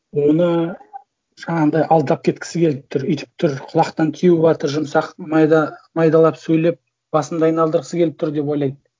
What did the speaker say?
оны жаңағындай алдап кеткісі келіп тұр өйтіп тұр құлақтан теуіватыр жұмсақ майда майдалап сөйлеп басымды айналдырғысы келіп тұр деп ойлайды